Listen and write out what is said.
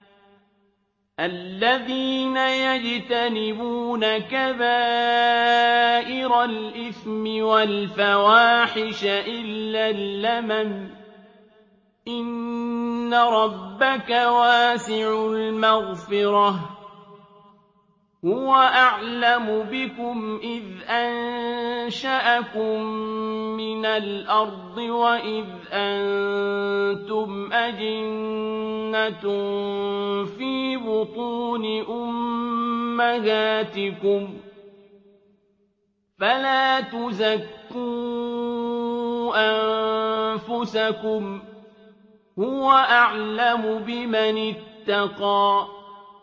الَّذِينَ يَجْتَنِبُونَ كَبَائِرَ الْإِثْمِ وَالْفَوَاحِشَ إِلَّا اللَّمَمَ ۚ إِنَّ رَبَّكَ وَاسِعُ الْمَغْفِرَةِ ۚ هُوَ أَعْلَمُ بِكُمْ إِذْ أَنشَأَكُم مِّنَ الْأَرْضِ وَإِذْ أَنتُمْ أَجِنَّةٌ فِي بُطُونِ أُمَّهَاتِكُمْ ۖ فَلَا تُزَكُّوا أَنفُسَكُمْ ۖ هُوَ أَعْلَمُ بِمَنِ اتَّقَىٰ